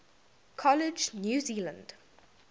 college new zealand